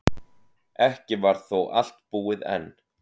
Ekki var þó allt búið enn.